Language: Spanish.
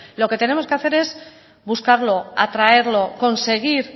lo que tenemos que hacer es buscarlo atraerlo conseguir